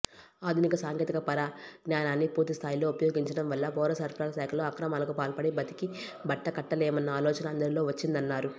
ఆధునిక సాంకేతిక పరిజ్ఞానాన్ని పూర్తిస్థాయిలో ఉపయోగించడం వల్ల పౌరసరఫరాల శాఖలో అక్రమాలకు పాల్పడి బతికి బట్టకట్టలేమన్న ఆలోచన అందరిలో వచ్చిందన్నారు